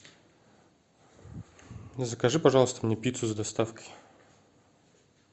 закажи пожалуйста мне пиццу с доставкой